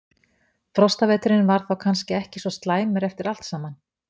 Frostaveturinn var þá kannski ekki svo slæmur eftir allt saman?